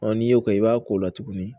n'i y'o kɛ i b'a ko la tuguni